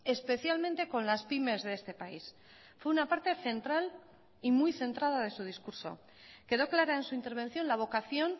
especialmente con las pymes de este país fue una parte central y muy centrada de su discurso quedó clara en su intervención la vocación